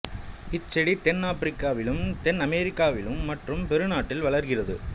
இச்செடி தென் ஆப்பிரிக்காவிலும் தென் அமெரிக்காவிலும் மற்றும் பெரு நாட்டில் வளர்கிறது